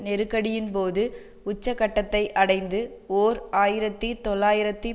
நெருக்கடியின்போது உச்ச கட்டத்தை அடைந்து ஓர் ஆயிரத்தி தொள்ளாயிரத்து